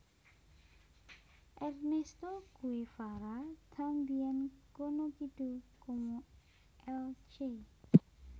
Ernesto Guevara también conocido como el Che